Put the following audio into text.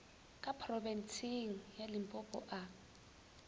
ka phorobentsheng ya limpopo a